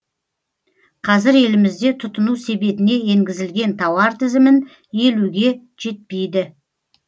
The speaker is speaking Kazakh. қазір елімізде тұтыну себетіне енгізілген тауар тізімін елуге жетпейді